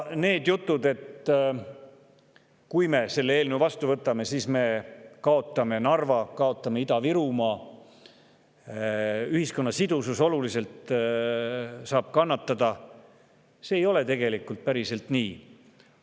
Need jutud, et kui me selle eelnõu vastu võtame, siis me kaotame Narva, kaotame Ida-Virumaa ja ühiskonna sidusus saab oluliselt kannatada, tegelikult.